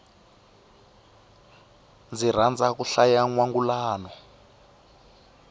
ndzi rhandza ku hlaya nwangulano